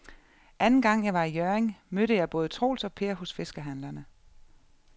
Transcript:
Anden gang jeg var i Hjørring, mødte jeg både Troels og Per hos fiskehandlerne.